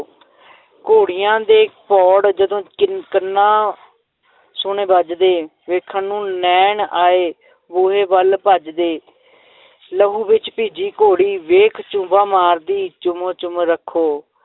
ਘੋੜੀਆਂ ਦੇ ਪੌੜ ਜਦੋਂ ਕੰਨ~ ਕੰਨਾਂ ਸੁਣੇ ਵੱਜਦੇ ਵੇਖਣ ਨੂੰ ਨੈਣ ਆਏ ਬੂਹੇ ਵੱਲ ਭੱਜਦੇ ਲਹੂ ਵਿੱਚ ਭਿੱਜੀ ਘੋੜੀ ਵੇਖ ਝੁੱਬਾਂ ਮਾਰਦੀ, ਚੁੰਮ ਚੁੰਮ ਰੱਖੋ।